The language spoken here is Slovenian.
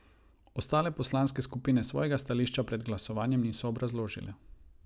Ostale poslanske skupine svojega stališča pred glasovanjem niso obrazložile.